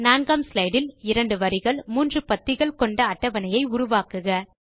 4 ஆம் ஸ்லைடு இல் 2 வரிகள் மூன்று பத்திகள் கொண்ட அட்டவணையை உருவாக்குக